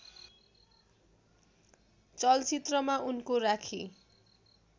चलचित्रमा उनको राखी